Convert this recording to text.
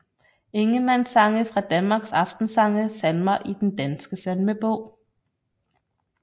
Ingemann Sange fra Danmark Aftensange Salmer i Den Danske Salmebog